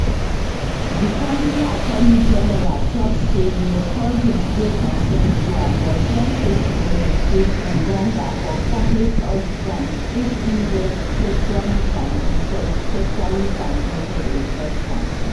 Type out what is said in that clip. di kontri attorney general tok say di recordings dey consensual but dem fit prosecute engonga for public health crimes if im get sexuallytransmitted sexuallytransmitted infection